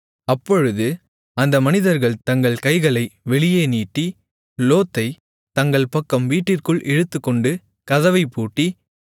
அப்பொழுது அந்த மனிதர்கள் தங்கள் கைகளை வெளியே நீட்டி லோத்தைத் தங்கள் பக்கம் வீட்டிற்குள் இழுத்துக்கொண்டு கதவைப்பூட்டி